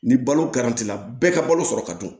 Ni balo bɛɛ ka balo sɔrɔ ka dun